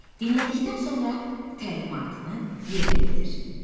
Dinlədikdən sonra təlimatını yerinə yetir.